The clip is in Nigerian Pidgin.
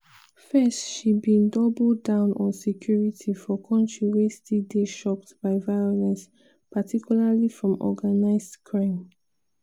first she bin double down on security for kontri wey still dey choked by violence particularly from organised crime.